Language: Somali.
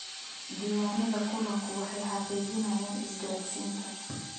Diiwaanada kulanku waxay xaqiijinayaan isgaadhsiinta.